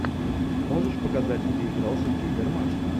можешь показать где играл сергей гармаш